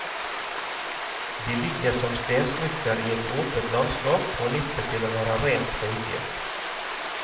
De ligger som stensmykker i et åpent landskap på nippet til å være rent høyfjell.